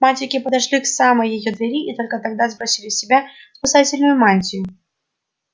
мальчики подошли к самой её двери и только тогда сбросили с себя спасительную мантию